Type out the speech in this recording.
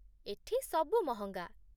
ଏଠି ସବୁ ମହଙ୍ଗା ।